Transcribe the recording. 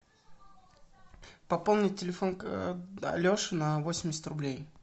пополнить телефон алеши на восемьдесят рублей